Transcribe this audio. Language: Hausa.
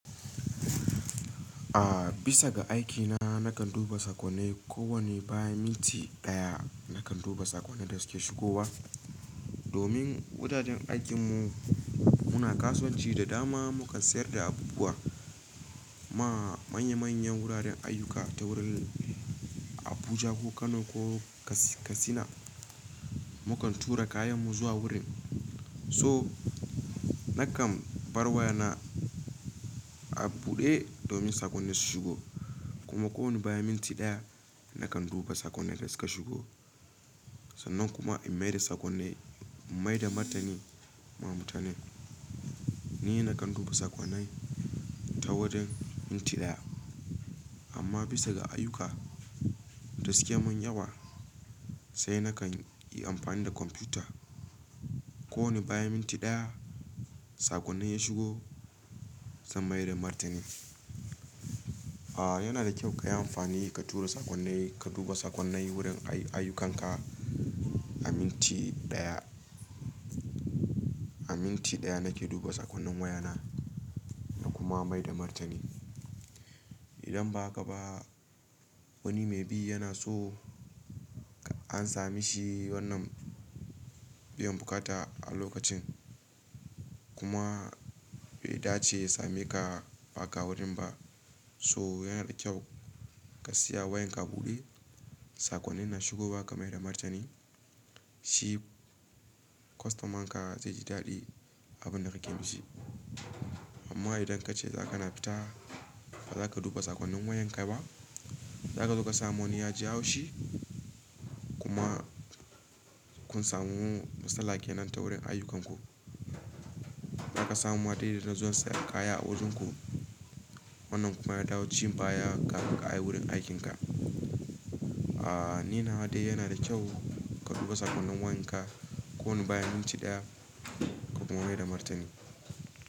A'a, bisa ga aikina nakan duba sakonai ko wane bayan minti daya nakan duba sakonnai da suke shigowa. Domin wuraren aikin mu muna kasuwanci da dama, mukan sayar da abubuwa ma manya manyan wuraren ayyuka ta wurin Abuja ko Kano ko Katsina. Mukan tura kayan mu zuwa wurin. Toh nakan bar wayana a buɗe domin sakonnin su shigo kuma ko wane bayan minti daya nakan duba sakonnin da suka shigo. Sannan kuma in maida sakonni, in maida martani ma mutane. Ni nakan duba sakonai ta wurin minti daya. Amma bisa ga ayyuka da suke mun yawa sai na kan yi amfani da kwamfuta. Ko wane bayan minti daya sakonnin ya shigo zan maida martani. A'a, yana da kyau ka yi amfani ka tura sakonnai, ka duba sakonnan wurin ayyukanka a minti daya. A minti daya nake duba sakonnin wayana na kuma maida martani. Idan ba ka ba wani mai bi yana so ka amsa mishi wannan biyan buƙata a lokacin kuma bai dace a same ka ba ka wurin ba. Toh yana da kyau ka siya wayan ka buɗe sakonnin na shigo ba ka maida martani. Shi kwastaman ka zai ji daɗi abun da kake mishi. Amma idan kace za kana fita ba za ka duba sakonnin wayan ka ba, zaka zo ka samu wani yaji haushi kuma kun samu matsala kenan ta wurin ayyukanku. Zaka samu wadanda zasu sayar kaya a wajunku wannan kuma ya dawo ci baya ka ka a yi wurin aikin ka. A'a, ni nawa dai yana da kyau ka duba sakonnin wayan ka kowani bayan minti daya ka kuma maida martani.